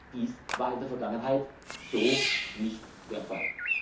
Dies war in der Vergangenheit so nicht der Fall.